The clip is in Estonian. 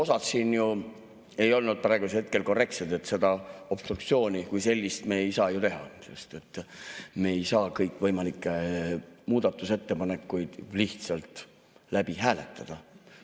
Osad siin ju ei olnud praegusel hetkel korrektsed, et seda obstruktsiooni kui sellist me ei saa teha, sest me ei saa kõikvõimalikke muudatusettepanekuid lihtsalt läbi hääletada.